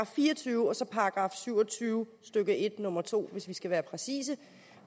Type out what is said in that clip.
fire og tyve og så § syv og tyve stykke en nummer to hvis vi skal være præcise